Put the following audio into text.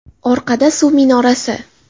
Orqada – suv minorasi.